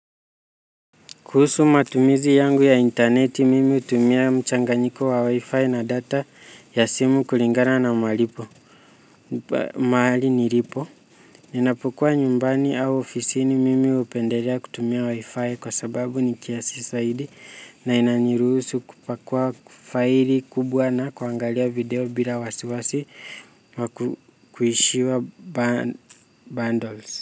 Kuhusu matumizi yangu ya interneti mimi hutumia mchanganyiko wa wi-fi na data ya simu kulingana na mahali nilipo. Ninapokuwa nyumbani au ofisini mimi hupendelea kutumia wi-fi kwa sababu ni kiasi zaidi na inaniruhusu kupakua file kubwa na kuangalia video bila wasiwasi wa kuishiwa bundles.